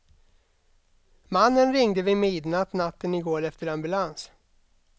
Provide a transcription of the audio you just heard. Mannen ringde vid midnatt natten i går efter ambulans.